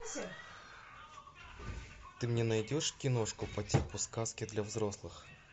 ты мне найдешь киношку по типу сказки для взрослых